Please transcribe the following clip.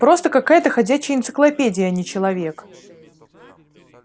просто какая-то ходячая энциклопедия а не человек